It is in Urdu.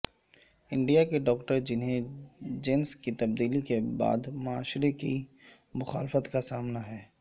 انڈیا کے ڈاکٹر جنھیں جنس کی تبدیلی کے بعد معاشرے کی مخالفت کا سامنا ہے